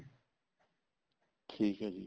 ਠੀਕ ਆ ਜੀ